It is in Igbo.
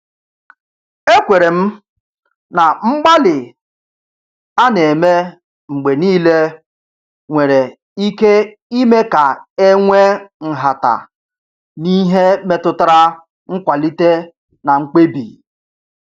Ekwere m na mgbalị a na-eme mgbe niile nwere ike ime ka e nwee nhata n’ihe metụtara nkwalite na mkpebi.